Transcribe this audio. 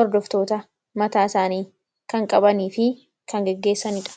hordoftoota mataa isaaniifi kan gaggeesanidha.